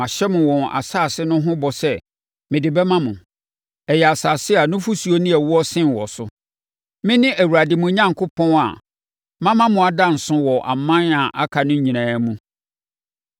Mahyɛ mo wɔn asase no ho bɔ sɛ mede bɛma mo. Ɛyɛ asase a nufosuo ne ɛwoɔ sen wɔ so. Mene Awurade mo Onyankopɔn a mama mo ada nso wɔ aman a aka no nyinaa mu.